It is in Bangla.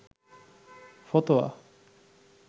ফতোয়া